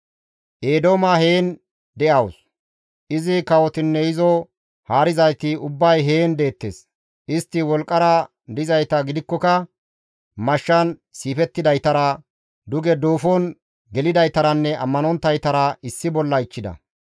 «Eedooma heen de7awus; izi kawotinne izo haarizayti ubbay heen deettes; istti wolqqara dizayta gidikkoka mashshan siifettidaytara, duge duufon gelidaytaranne ammanonttaytara issi bolla ichchida.